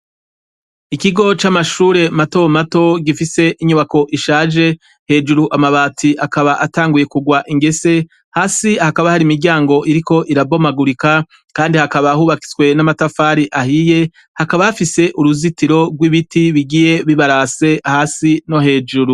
Ikigo c'Amashure matomato gifise inyubako ishaje, hejuru amabati akaba atanguye kugwa ingese hasi hakaba hari imiryango iriko irabomagurika kandi hakaba hubatswe n'amatafari ahiye hakaba hafise uruzitiro rw'ibiti bigiye bibarase hesi no hejuru.